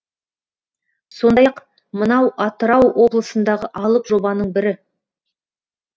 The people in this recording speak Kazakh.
сондай ақ мынау атырау облысындағы алып жобаның бірі